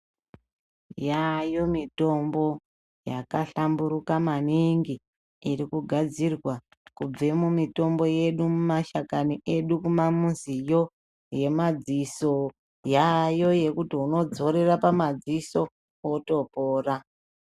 Yayo mitombo yaka hlamburuka maningi iri kugadzirwa kubve mumi tombo yedu mushakani medu muma muziyo yema dziso yayo yekuti uno zorera pama ziso woto pora.